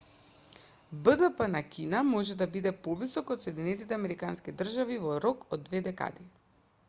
бдп на кина може да биде повисок од соединетите американски држави во рок од две декади